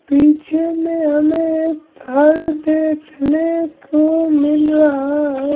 पीछे में हमें धर देखने को मिल रहा है।